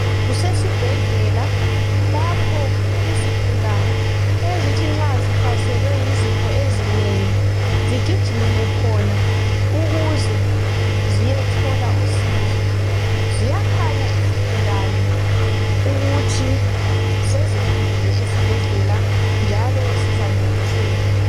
Kusesibhedlela lapho zigulani ezithi nxa zihlaselwe yizifo ezinengi zigijimele khona, ukuze ziyethola usizo. Ziyakhanya izigulani ukuthi sezifikile esibhedlela njalo zizancediseka.